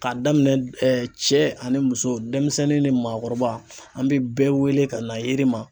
K'a daminɛ cɛ ani muso denmisɛnnin ni maakɔrɔba an bɛ bɛɛ wele ka na yiri ma.